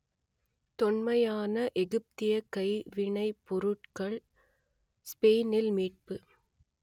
தொன்மையான எகிப்தியக் கைவினைப் பொருட்கள் ஸ்பெயினில் மீட்பு